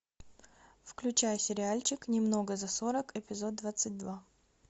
включай сериальчик немного за сорок эпизод двадцать два